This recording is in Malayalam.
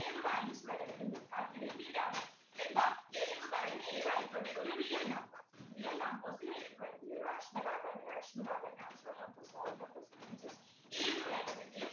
ഏത് values വേണങ്കിലും കൊടുക്കാം അതിനു വേണ്ടീട്ടാണ് എന്താ k ന്നു പറയുന്ന ഏതായിക്കോട്ടെ ഒരു real number real numbers ലു ഏത് വേണമെങ്കിലും rational ആകാം irrational ആകാം natural numbers whole numbers integers ഏത് വേണമെങ്കിലും